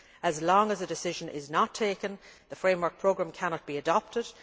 As long as a decision is not taken, the Framework Programme cannot be adopted.